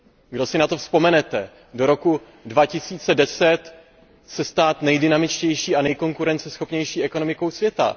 Kdo si na to vzpomenete do roku 2010 se stát nejdynamičtější a nejkonkurenceschopnější ekonomikou světa.